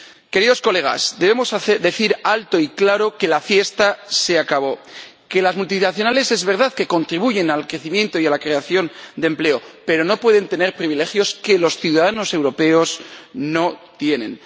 Queridos colegas, debemos decir alto y claro que la fiesta se acabó que es verdad que las multinacionales contribuyen al crecimiento y a la creación de empleo, pero no pueden tener privilegios que los ciudadanos europeos no tienen.